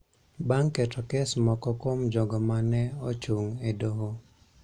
bang� keto kes moko kuom jogo ma ne ochung� e Doho